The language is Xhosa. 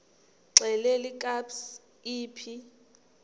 xelel kabs iphi